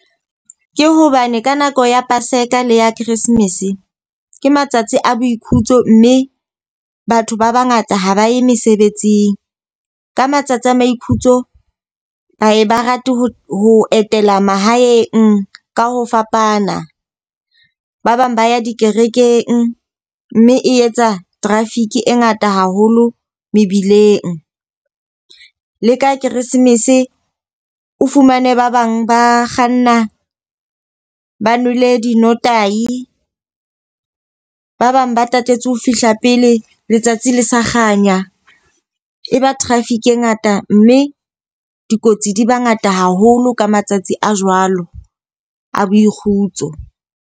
Ke hobane ka nako ya paseka le ya christmas, ke matsatsi a boikhutso mme batho ba ba ngata ha ba ye mesebetsing. Ka matsatsi a maikhutso, ba ye ba rate ho ho etela mahaeng ka ho fapana. Ba bang ba ya dikerekeng mme e etsa traffic e ngata haholo mebileng. Le ka keresemese o fumane ba bang ba kganna ba nwele di notahi, ba bang ba tatetse ho fihla pele letsatsi le sa kganya. E ba traffic e ngata mme dikotsi di ba ngata haholo ka matsatsi a jwalo a boikgutso.